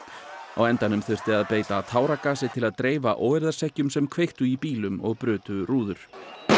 á endanum þurfti að beita táragasi til að dreifa óeirðarseggjum sem kveiktu í bílum og brutu rúður